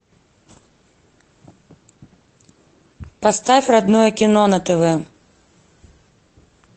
поставь родное кино на тв